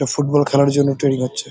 এটা ফুটবল খেলার জন্য ট্রেনিং হচ্ছে।